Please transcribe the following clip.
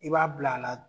I b'a bila a la